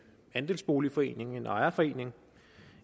andelsboligforening en ejerforening